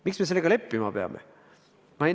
Miks me sellega leppima peame?